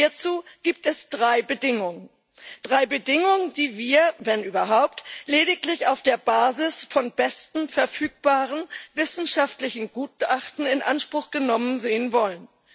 Hierzu gibt es drei Bedingungen drei Bedingungen, die wir, wenn überhaupt, lediglich auf der Basis von besten verfügbaren wissenschaftlichen Gutachten in Anspruch genommen sehen wollen.